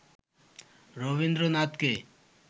রবীন্দ্রনাথকে